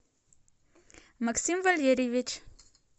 максим валерьевич